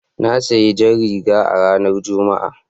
Na sayi jar riga a ranar Juma'a.